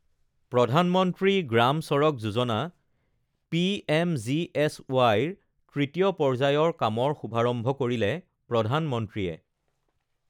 প্ৰধানমন্ত্ৰী গ্ৰাম চড়ক যোজনা পিএমজিএছৱাইৰ তৃতীয় পৰ্যায়ৰ কামৰ শুভাৰম্ভ কৰিলে প্ৰধানমন্ত্ৰীয়ে